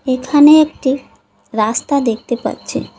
এখানে একটি রাস্তা দেখতে পাচ্ছি।